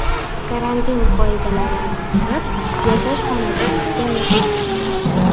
karantin qoidalarini buzib, yashash xonadoniga mehmon chaqirgan.